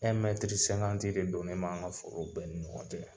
de donnen b'an ka foro bɛɛ ni ɲɔgɔn cɛ.